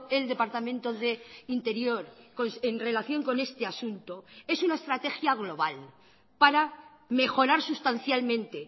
el departamento de interior en relación con este asunto es una estrategia global para mejorar sustancialmente